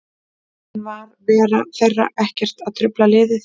En var vera þeirra þar ekkert að trufla liðið?